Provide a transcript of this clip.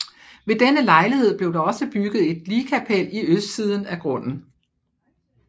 Ved denne lejlighed blev der også bygget et ligkapel i østsiden af grunden